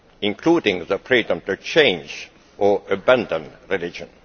including the freedom to change or abandon a religion.